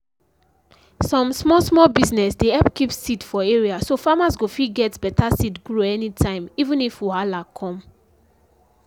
some small small business dey help keep seed for area so farmers go fit get beta seed grow anytime even if wahala come.